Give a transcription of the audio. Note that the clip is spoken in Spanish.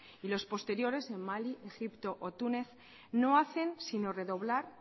y los posteriores en mali egipto o túnez no hacen sino redoblar